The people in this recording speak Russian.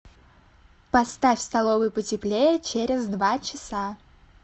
поставь в столовой потеплее через два часа